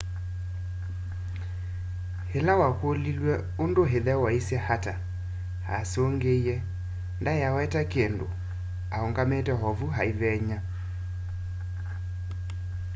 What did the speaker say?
ĩla wakũlilw'eũndũ ĩthe waisye ata asũngĩĩe ndaĩaweta kĩndũ-aũngamĩte ovũ aĩvenya